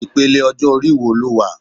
Ipele ọjọ-ori wo lo wà